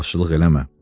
İsrafçılıq eləmə.